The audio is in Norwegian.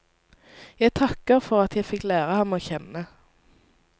Jeg takker for at jeg fikk lære ham å kjenne.